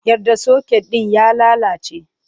Yar da soket ɗin ya lalace!